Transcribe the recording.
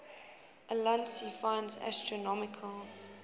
ulansey finds astronomical